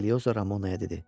Eliyosa Ramonaya dedi.